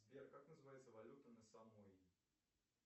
сбер как называется валюта на самуи